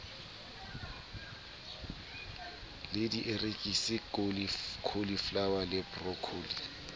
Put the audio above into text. le dierekisi cauliflower le broccoli